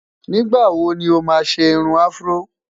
nígbà wò ni oma ṣé irún afro?